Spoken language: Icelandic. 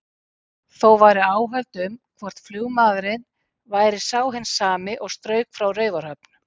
Þó væru áhöld um, hvort flugmaðurinn væri sá hinn sami og strauk frá Raufarhöfn.